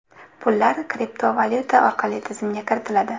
Pullar kriptovalyuta orqali tizimga kiritiladi.